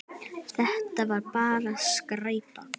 Þetta var bara skræpa.